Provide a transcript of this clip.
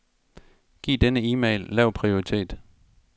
Giv denne e-mail lav prioritet.